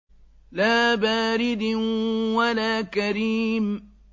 لَّا بَارِدٍ وَلَا كَرِيمٍ